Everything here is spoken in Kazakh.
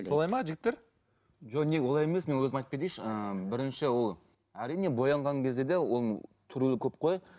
солай ма жігіттер жоқ не олай емес мен өзім айтып кетейінші ыыы бірінші ол әрине боянған кезде де оның түрлері көп қой